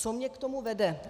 Co mě k tomu vede?